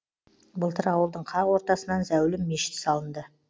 былтыр ауылдың қақ ортасынан зәулім мешіт салынды